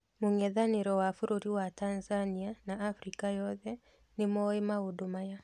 Mũng'ethanĩro wa bũrũri wa Tanzania na Afrika yothe nĩmoĩ maũndũ maya.